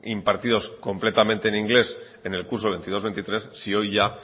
impartidos completamente en inglés en el curso veintidós veintitrés si hoy ya